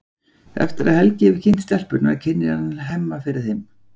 Eftir að Helgi hefur kynnt stelpurnar kynnir hann Hemma fyrir þeim.